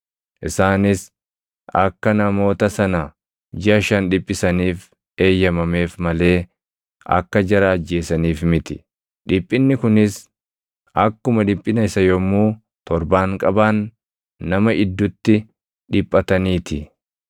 Isaanis akka namoota sana jiʼa shan dhiphisaniif eeyyamameef malee akka jara ajjeesaniif miti. Dhiphinni kunis akkuma dhiphina isa yommuu torbaanqabaan nama iddutti dhiphatanii ti.